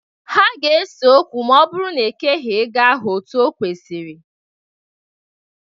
Ha ga-ese okwu ma ọ bụrụ na e keghi ego ahụ otu o kwesiri.